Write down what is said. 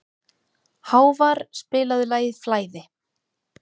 Hávarr, spilaðu lagið „Flæði“.